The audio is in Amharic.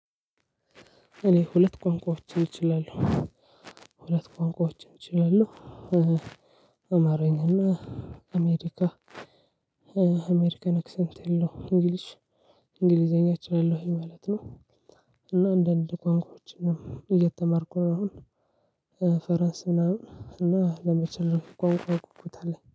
እኔ ሁለት ቋንቋዎችን እችላለሁ ሁለት ቋንቋዎችን እችላለሁ። አማራኝና አሜሪካ አሜሪካን አክሰንት ያለው እንግሊሽ እንግሊዘኛ እችላለሁኝ ማለት ነው። እና አንድ አንድ ቋንቋዎችንም እየተማርኩ ነው አሁን። ፍራንስ ምናምን እና ለመቻል ቋንቋ ጉጉት አለኝ